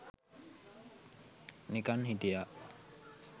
නිකන් හිටියා